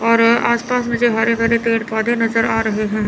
और आस पास मुझे हरे भरे पेड़ पौधे नजर आ रहे हैं।